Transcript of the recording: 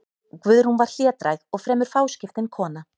Guðrún var hlédræg og fremur fáskiptin kona.